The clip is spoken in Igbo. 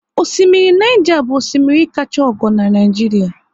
Orimmiri Niger bụ orimmiri kachaa ogo n'Naijiria